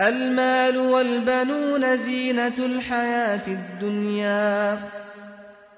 الْمَالُ وَالْبَنُونَ زِينَةُ الْحَيَاةِ الدُّنْيَا ۖ